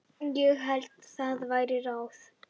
Ég held það væri ráð.